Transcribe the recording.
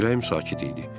Vilayim sakit idi.